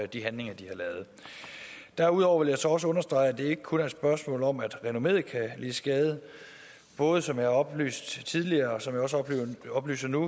de handlinger de har lavet derudover vil jeg så også understrege at det ikke kun er et spørgsmål om at renommeet kan lide skade både som jeg har oplyst tidligere og som jeg oplyser nu